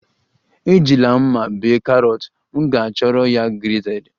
Ejila mma bee carrot, m ga-ahọrọ ya grated